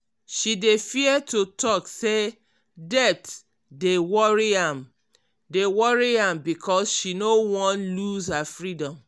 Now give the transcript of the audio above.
she dey fear to talk say debt dey worry am dey worry am because she no wan lose her freedom.